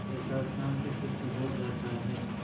कैसा शांतचित्त हो जाता है